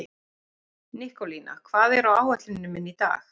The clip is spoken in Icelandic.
Nikólína, hvað er á áætluninni minni í dag?